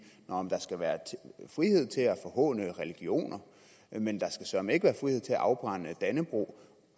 der skal være frihed til at forhåne religioner men der skal søreme ikke være frihed til at afbrænde dannebrog